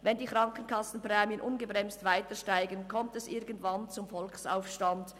wenn die Krankenkassenprämien ungebremst weitersteigen, kommt es irgendwann zum Volksaufstand.